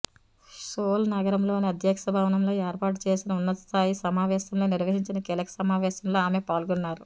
soul నగరంలోని అధ్యక్ష భవనంలో ఏర్పాటు చేసిన ఉన్నతస్థాయి సమావేశంలో నిర్వహించిన కీలక సమావేశంలో ఆమె పాల్గొన్నారు